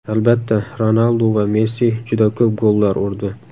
Albatta, Ronaldu va Messi juda ko‘p gollar urdi.